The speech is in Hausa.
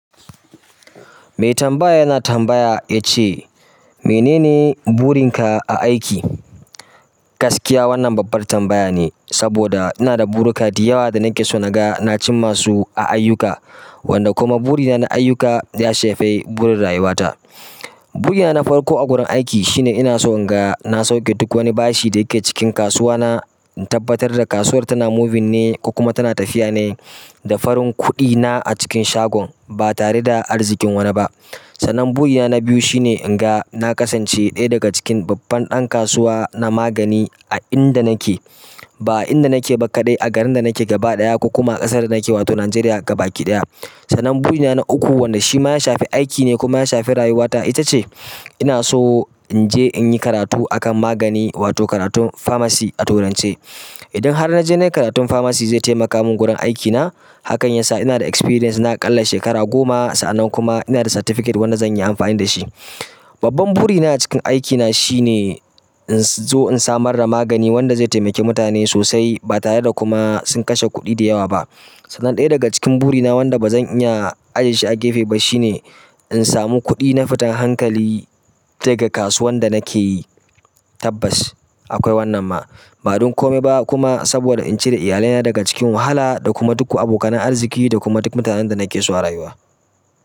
Mai tambaya yana tambaya ya ce, "Menene burin ka a aiki?" Gaskiya wannan babbar tambaya ne, saboda ina da buri kadi yawa da nake so naga na cimma su a ayyuka, wanda kuma buri na na ayyuka ya shafi burin rayuwa ta. Buri na na farko a gurin aiki shine ina so in ga na sauke duk wani bashi da yake cikin kasuwa na, in tabbatar da kasuwar tana moving ne ko kuma tana tafiya ne da farin kuɗi na a cikin shagon ba tare da arzikin wani ba. Sannan burina na biyu shine inga na kasance ɗaya daga cikin babban ɗan kasuwa na magani a inda naka ba a inda nake ba kaɗai, a garin da nake gaba ɗaya ko kuma a ƙasar da nake wato Nigeria gaba kiɗaya. Sanan buri na na uku wanda shi ma ya shafi aiki ne kuma ya shafi rayuwata ita ce ina so in je in yi karatu a kan magani wato karatun pharmacy a turance. Idan har na je na yi karatun pharmacy zai taimaka min gurin aikina. Hakan yasa ina da experience na ƙalla shekara goma sa'annan kuma ina da certificate wanda zan yi amfani da shi. Babban buri na a cikin aikina shine in zo in samar da magani wanda zai taimaki mutane sosai ba tare da kuma sun kashe kuɗi da yawa ba. Dan ɗaya daga cikin buri na wanda ba zan iya ajiye shi a gefe ba shine in samu kuɗi na fitan hankali daga kasuwan da nake yi. Tabbas akwai wannan ma. Badan komai ba kuma sabo da in cire iyalaina daga cikin wahala da kuma duk ko abokan arziƙi da kuma duk mutanan da nake so a rayuwa.